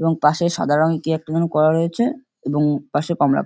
এবং পাশে সাদা রঙের কি একটা যেন করা রয়েছে এবং পাশে কমলা কালা--